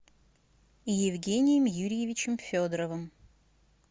евгением юрьевичем федоровым